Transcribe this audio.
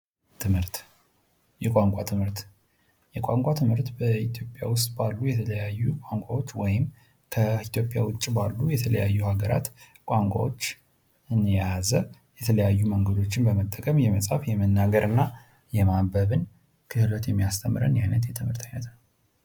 ትምህርት የቋንቋ ትምህርት የቋንቋ ትምህርት በኢትዮጵያ ውስጥ ባሉ የተለያዩ ቋንቋዎች ወይም ከኢትዮጵያ ውጪ ባሉ የተለያዩ ሀገራት ቋንቋዎች የያዘ የተለያዩ መንገዶችን በመጠቀም የመጻፍ፣ የመናገር እና የማንበብን ክህሎት የሚያስተምረን ዓይነት የትምህርት ዓይነት ነው።